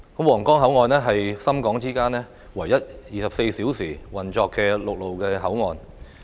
皇崗口岸是深港之間唯一24小時運作的陸路口岸。